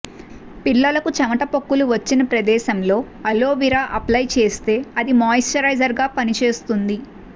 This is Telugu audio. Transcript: పిల్లలకు చెమట పొక్కులు వచ్చిన ప్రదేశంలో అలోవిర అప్లయ్ చేస్తే అది మాయిశ్చరైజర్గా పనిచేస్తుంది